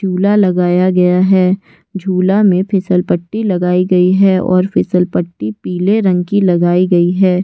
झुला लगाया गया है। झूला में फिसलपट्टी लगाई गई है और फिस्सलपट्टी पीले रंग की लगाई गई है।